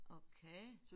Okay